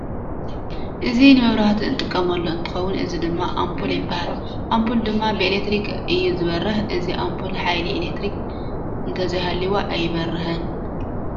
እዚ ንመብራህቲ እንጥቀመሉ እንትከውን እዚ ድማ ኣምፑል ይባሃል ። ኣምፑል ድማ ብኣለትሪክ እዩ ዝበርህ። እዚ ኣምፑል ሓይሊ ኤሌትሪክ እንዘይሃልያ ኣይበርህን።